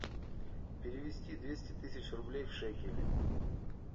перевести двести тысяч рублей в шекели